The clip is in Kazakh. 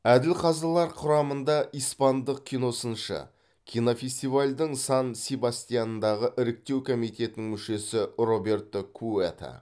әділ қазылар құрамында испандық киносыншы кинофестивальдің сан себастьяндағы іріктеу комитетінің мүшесі роберто куэто